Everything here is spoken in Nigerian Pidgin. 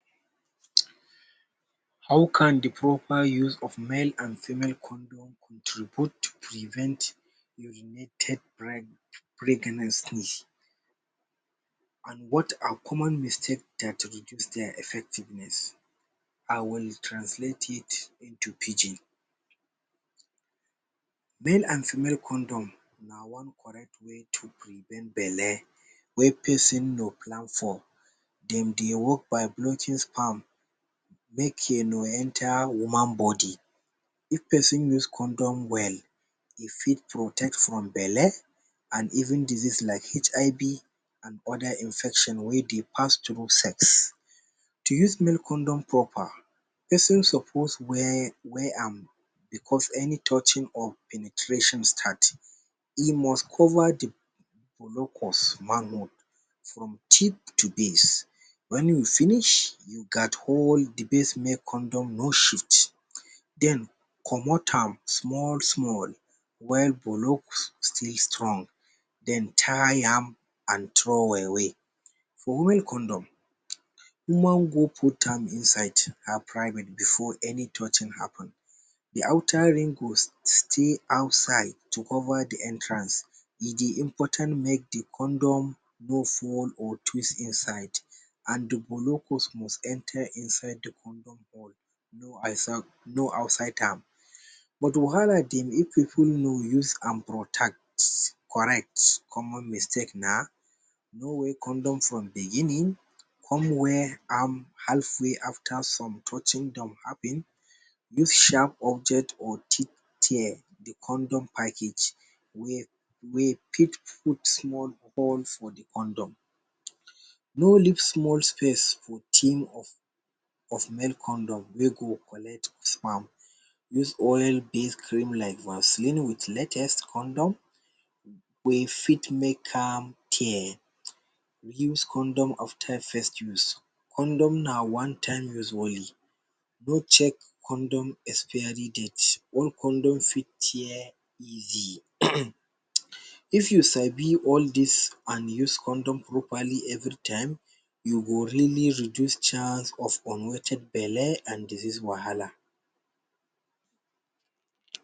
um How can the proper use of male and female condom contribute to prevent urinated bri pregnancy? And what are common mistake that reduce their effectiveness? I will translate it into Pidgin. Male and female condom na one correct way to prevent bele wey person no plan for, dem dey work by blocking sperm make e no enter woman body. If person use condom well, e fit protect from bele and even disease like HIV and other infection wey dey pass through sex. To use male condom proper, person suppose wear wear am becus any touching of penetration start. E must cover the blocus manhood from tip to base when you finish you gat all the base male condom no shit, den comot am small-small when polos still strong then tie am and throw away. For woman condom, woman go put am inside her private before any touching happen. The outer ring go stay outside to cover the entrance, e dey important make the condom no fall or twist inside and the bolocus must enter inside the condom or no outside am. But wahala dey if the pipul no use am protect correct common mistake na no wear condom from the beginning come wear am halfway after some touching don happen. If sharp object or teeth tear the condom package, wey wey fit put small hole for the condom. no leave small space for tin of male condom wey go collect sperm. Use oil bill cream like vasline with latest condom wey fit make am tear. Use condom of time first use, condom na one time use only, go check condom expiry date all condom fit tear easily. um If you sabi all this and use condom properly every time, you go really reduce chance of unwanted bele and disease wahala